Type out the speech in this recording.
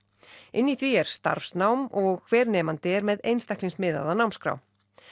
inn í því er starfsnám og hver nemandi er með einstaklingsmiðaða námskrá